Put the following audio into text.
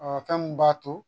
fɛn min b'a to